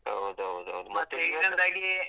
ಹೌದೌದೌದು .